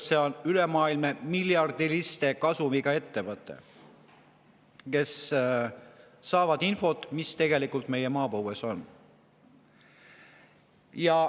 See on ülemaailmne, miljardilise kasumiga ettevõte, kes saab infot, mis tegelikult meie maapõues on.